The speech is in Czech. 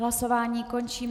Hlasování končím.